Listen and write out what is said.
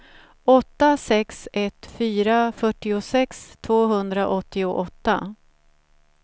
åtta sex ett fyra fyrtiosex tvåhundraåttioåtta